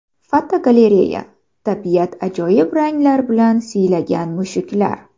Fotogalereya: Tabiat ajoyib ranglar bilan siylagan mushuklar.